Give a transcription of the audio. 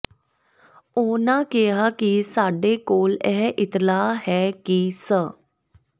ਉਹਨਾਂ ਕਿਹਾ ਕਿ ਸਾਡੇ ਕੋਲ ਇਹ ਇਤਲਾਹ ਹੈ ਕਿ ਸ